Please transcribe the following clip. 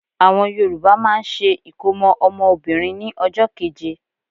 Àwọn Yorùbá máà ń ṣe ìkómọ́ ọmọ Obìnrin ní ọjọ́ keje.